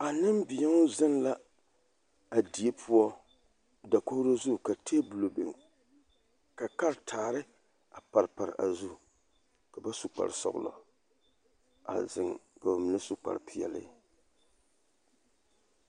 A nimbeō zeŋ la a die poɔ dakoɡro zu ka teebulɔ biŋ ka karataare a pare pare a zu ka ba su kparsɔɡelɔ a zeŋ ka ba mine su kparpeɛle.